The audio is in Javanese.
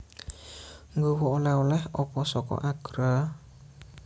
Nggowo oleh oleh opo soko Agra?